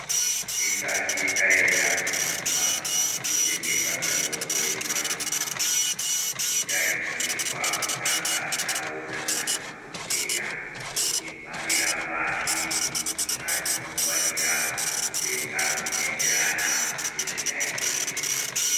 Tisati yaenda kuimba dzinotengesa mitombo yemazuwano tinotarosirwa kutanga tanoona madhokodheya otibharira pashi zvatinofanira kutenga zvinoenderana nezviyaiyo zvedu.